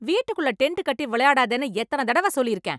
வீட்டுக்குள்ள டெண்டு கட்டி விளையாடாதேன்னு எத்தன தடவ சொல்லிருக்கேன்?